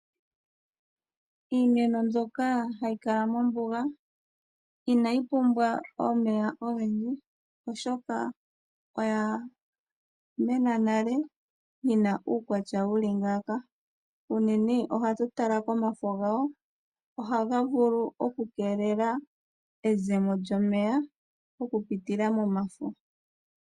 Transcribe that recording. Iimeno mbyoka hayi kala mombuga inayi pumbwa omeya ogendji, oshoka oya mena nale yi na uukwatya wuli ngaaka., unene ohatu tala komafo gawo, ohaga vulu okukeelela ezemo lyomeya oku pitila momafo.